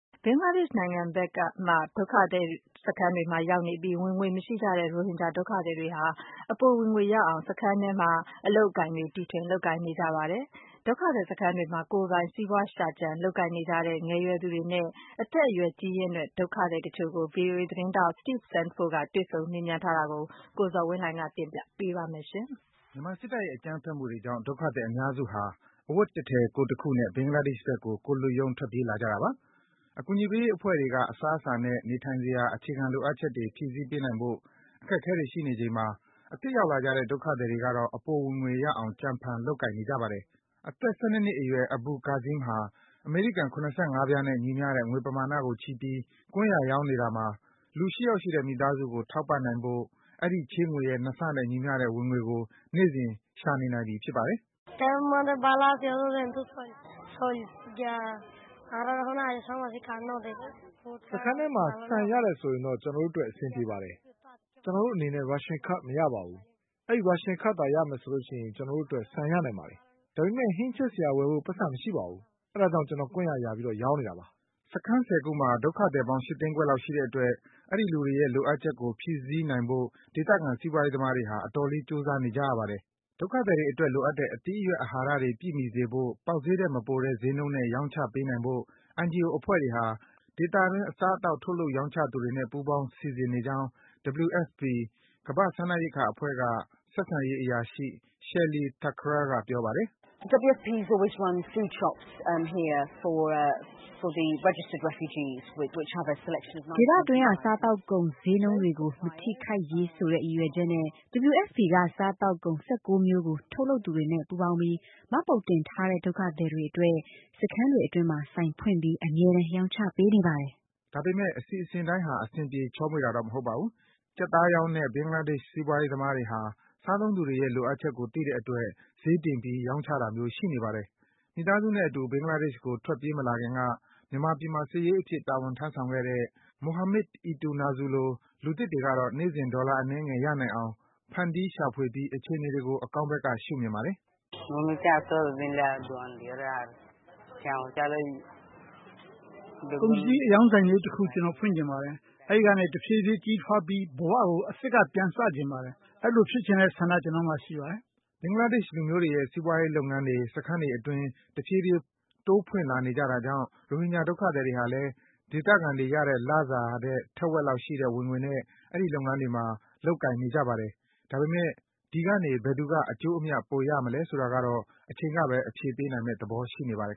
ဘင်္ဂလားဒေ့ရှ်က ဒုက္ခသည်တွေမှာရောက်နေပြီး ဝင်ငွေမရှိကြတဲ့ ရိုဟင်ဂျာ ဒုက္ခသည်တွေဟာ အပိုဝင်ငွေရအောင် စခန်းအတွင်းမှာ အလုပ်အကိုင် တီထွင် လုပ်ကိုင်နေကြပါတယ်။ ဒုက္ခသည်စခန်းတွေမှာ ကိုယ်ပိုင် စီးပွားရှာကြံ လုပ်ကိုင်နေကြတဲ့ ငယ်ရွယ်သူတွေနဲ့ အသက်အရွယ် ကြီးရင့်တဲ့ ဒုက္ခသည်တချို့ကို ဗွီအိုအေသတင်းထောက် Steve Sandford က တွေ့ဆုံ မေးမြန်းထားတာကို ကိုဇော်ဝင်းလှိုင်က တင်ပြပေးပါမယ်။ မြန်မာစစ်တပ်ရဲ့ အကြမ်းဖက်မှုတွေကြောင့် ဒုက္ခသည် အများစုဟာ အဝတ်တထည် ကိုယ်တခုနဲ့ ဘင်္ဂလားဒေ့ရှ်ဘက်ကို ကိုယ်လွတ်ရုံး ထွက်ပြေးလာကြတာပါ။ အကူအညီပေးရေးအဖွဲ့တွေက အစားအစာနဲ့ နေထိုင်စရာ အခြေခံလိုအပ်ချက်တွေ ဖြည့်ဆည်းပေးနိုင်ဖို့ အခက်အခဲတွေ ရှိနေချိန်မှာ အသစ်ရောက်လာကြတဲ့ ဒုက္ခသည်တွေကတော့ အပိုဝင်ငွေရအောင် ကြံဖန် လုပ်ကိုင်နေကြပါတယ်။ အသက် ၁၂ နှစ်အရွယ် Abul Kazeem ဟာ အမေရိကန် ၇၅ ပြားနဲ့ ညီမျှတဲ့ငွေပမာဏကို ချည်းပြီး ကွမ်းယာရောင်းနေတာမှာ လူ ၈ ယောက်ရှိတဲ့ မိသားစုကို ထောက်ပံ့နိုင်ဖို့ အဲဒီ ချည်းငွေရဲ့ ၂ ဆနဲ့ ညီမျှတဲ့ ဝင်ငွေကို နေ့စဉ် ရှာနေနိုင်ပြီ ဖြစ်ပါတယ်။ “စခန်းထဲမှာ ဆန်ရတယ်ဆိုရင်တော့ ကျနော်တို့အတွက် အဆင်ပြေပါတယ်။ ကျနော်တို့အနေနဲ့ ရာရှင်ကဒ်မရပါဘူး။ ရာရှင်ကဒ်ရမယ်ဆိုရင်တော့ ကျနော်တို့အတွက် ဆန်ရနိုင်ပါတယ်။ ဒါပေမယ့် ဟင်းချက်စရာဝယ်ဖို့ ပိုက်ဆံတော့ မရှိပါဘူး။ ဒါကြောင့် ကျနော် ကွမ်းယာ ယာရောင်းနေတာပါ။” စခန်း ၁၀ ခုမှာ ဒုက္ခသည်ပေါင်း ၈ သိန်းခွဲလောက်ရှိတဲ့အတွက် အဲဒီလူတွေရဲ့ လိုအပ်ချက်ကို ဖြည့်ဆည်းနိုင်ဖို့ ဒေသခံ စီးပွားရေးသမားတွေဟာ အတော်လေး ကြိုးစားနေကြရပါတယ်။ ဒုက္ခသည်တွေအတွက် လိုအပ်တဲ့ အသီးအရွက်၊ အဟာရတွေ ပြည့်မှီစေဖို့ ပေါက်ဈေးထက်မပိုတဲ့နှုန်းတဲ့ ဒုက္ခသည်တွေအတွက် ရောင်းချပေးနိုင်ဖို့ NGO အဖွဲ့တွေဟာ ဒေသတွင်း အစားအသောက် ထုတ်လုပ် ရောင်းချသူတွေနဲ့ ပူးပေါင်း စီစဉ်နေကြောင်း WFP ကမ္ဘာ့ စားနပ်ရိက္ခာအဖွဲ့က ဆက်ဆံရေး အရာရှိ Shelly Thakral က ပြောပါတယ်။ “ဒေသတွင်းက စားသောက်ကုန် ဈေးနှုန်းတွေကို မထိခိုက်ရေးဆိုတဲ့ ရည်ရွယ်ချက်နဲ့ WFP က စားသောက်ကုန် ၁၉ မျိုးကို ထုတ်လုပ်သူတွေနဲ့ ပူးပေါင်းပြီး မှတ်ပုံတင်ထားတဲ့ ဒုက္ခသည်တွေအတွက် စခန်းတွေအတွင်းမှာ ဆိုင်ဖွင့်ပြီး အမြဲတမ်း ရောင်းချပေးနေပါတယ်။ ဒါပေမယ့် အစီအစဉ်တိုင်းက အဆင်ပြေ ချောမွေ့တာတော့ မဟုတ်ပါဘူး။ ကြက်သားရောင်းတဲ့ ဘင်္ဂလားဒေ့ရှ် စီးပွားရေးသမားတွေဟာ စားသုံးသူတွေရဲ့ လိုအပ်ချက်ကို သိတဲ့အတွက် ဈေးတင်ပြီး ရောင်းချတာမျိုး ရှိနေပါတယ်။ မိသားစုနဲ့အတူ ဘင်္ဂလားဒေ့ရှ်ကို ထွက်မပြေးလာခင်က မြန်မာပြည်မှာ စာရေးအဖြစ် တာဝန်ထမ်းဆောင်ခဲ့တဲ့ Mohamid Eitunazu လို လူသစ်တွေကတော့ နေ့စဉ် ဒေါ်လာအနည်းငယ် ရနိုင်အောင် ဖန်တီး ရှာဖွေပြီး အခြေအနေတွေကို အကောင်းဘက်က ရှုမြင်ပါတယ်။ “ကုန်ပစ္စည်းအရောင်းဆိုင်လေးတခု ကျနော် ဖွင့်ချင်ပါတယ်။ အဲဒီကနေ တဖြည်းဖြည်း ကြီးထွားပြီး ဘဝကို အသစ်က ပြန်စချင်ပါတယ်။ အဲဒီလိုဖြစ်ချင်တဲ့ ဆန္ဒ ကျနော့်မှာရှိပါတယ်။” ဘင်္ဂလားဒေ့ရှ်လူမျိုးတွေရဲ့ စီးပွားရေးလုပ်ငန်းတွေ စခန်းတွေအတွင်း တဖြည်းဖြည်း ဖွင့်လာနေကြတာကြောင့် ရိုဟင်ဂျာ ဒုက္ခသည်တွေဟာလည်း ဒေသခံတွေရတဲ့ လစာထက် ထက်ဝက်လောက်ရှိတဲ့ ဝင်ငွေနဲ့ အဲဒီ လုပ်ငန်းတွေမှာ လုပ်ကိုင်နေကြပါတယ်။ ဒါပေမယ့် ဒီကနေ ဘယ်သူက အကျိုးအမြတ် ပိုရမလဲဆိုတာကတော့ အချိန်ကဘဲ အဖြေပေးနိုင်မယ့် သဘောရှိနေပါတယ်